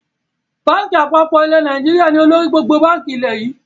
Báńkì àpapọ̀ ilẹ̀ Nàìjíríà ni olórí gbogbo báńkì ilẹ̀ yii